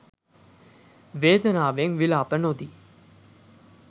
වේදනාවෙන් විලාප නොදී